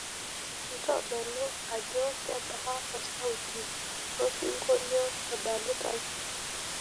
ntodolo ajo kebaa osauti losingolio odalitai